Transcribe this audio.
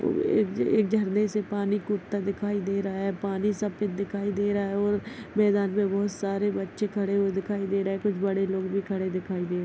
एक एक झरने से पानी कूदता दिखाई दे रहा है पानी सफेद दिखाई दे रहा है और मैदान मे बहुत सारे बच्चे खड़े दिखाई दे रहे है कुछ बड़े लोग भी खड़े दिखाई दे रहे है।